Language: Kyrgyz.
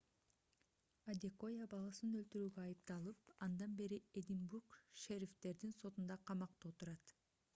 адекоя баласын өлтүрүүгө айыпталып андан бери эдинбург шерифтердин сотунда камакта отурат